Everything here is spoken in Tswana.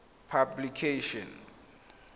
publication